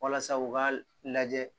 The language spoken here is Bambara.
Walasa u ka lajɛ